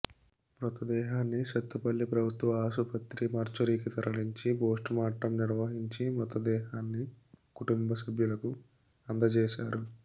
మృతదేహాన్ని సత్తుపల్లి ప్రభుత్వ ఆసుపత్రి మార్చూరికి తరలించి పోస్టుమార్టం నిర్వహించి మృతదేహాన్ని కుటుంబ సభ్యులకు అందజేశారు